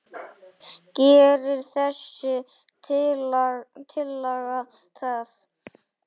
Gerir þessi tillaga það?